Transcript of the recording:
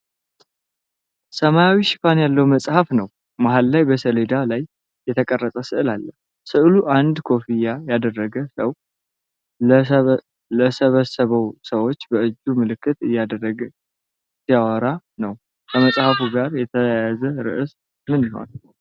ሰማያዊ ሽፋን ያለው መጽሐፍ ነው። መሃል ላይ በሰሌዳ ላይ የተቀረጸ ሥዕል አለ። ሥዕሉ አንድ ኮፍያ ያደረገ ሰው ለተሰበሰቡ ሰዎች በእጁ ምልክት እያደረገ ሲያወራ ነው። ከመጽሐፉ ጋር የተያያዘ ርዕስ ምን ይሆን?